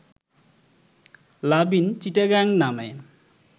লাভ in Chittagong নামে